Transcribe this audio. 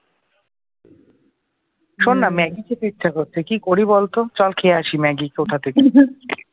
শুননা Maggi খেতে ইচ্ছা করছে কি করি বলতো চল খেয়ে আসে ম্যাগি কোথা থেকে